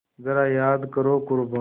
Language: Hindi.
ज़रा याद करो क़ुरबानी